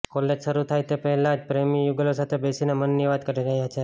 college શરૂ થાય તે પહેલાથી જ પ્રેમી યુગલો સાથે બેસીને મનની વાત કરી રહ્યા છે